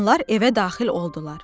Onlar evə daxil oldular.